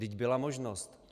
Vždyť byla možnost.